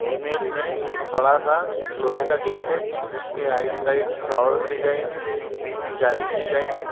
Image में एक बड़ा सा लोहे का गेट है जिसके राइट साइड फ्लावर के डिजाइन है बीच में जाली की डिजाइन है।